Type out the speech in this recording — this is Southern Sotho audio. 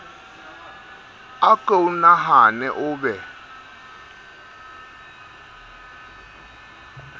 a ko nahane o be